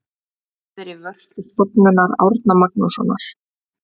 Það er í vörslu Stofnunar Árna Magnússonar.